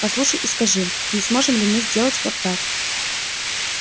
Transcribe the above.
послушай и скажи не сможем ли мы сделать вот так